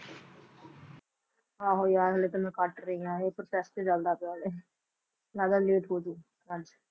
ਆਹੋ ਯਾਰ ਹਾਲੇ ਤਾਂ ਮੈਂ ਕੱਟ ਰਹੀ ਹਾਂ ਇਹ ਚੱਲਦਾ ਪਿਆ ਹਾਲੇ, ਲੱਗਦਾ late ਹੋ ਜਾਊ ਅੱਜ।